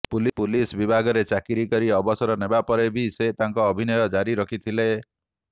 police ବିଭାଗରେ ଚାକିରି କରି ଅବସର ନେବା ପରେ ବି ସେ ତାଙ୍କର ଅଭିନୟ ଜାରି ରଖିଥିଲେ